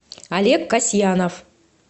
олег касьянов